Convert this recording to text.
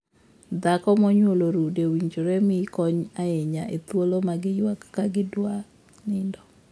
Dhako ma onyuolo rude owinjore mii kony ahinya e thuolo ma giyuak ka gidwa nindo.